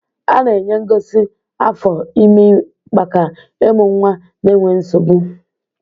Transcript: A na-enye ngozi afọ ime maka ịmụ nwa n'enweghị nsogbu.